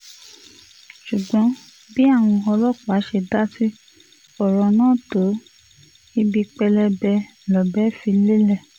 ṣùgbọ́n bí àwọn ọlọ́pàá ṣe dá sí ọ̀rọ̀ náà tó ibi pẹlẹbẹ lọ̀bẹ fi lélẹ̀